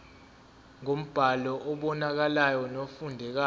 ngombhalo obonakalayo nofundekayo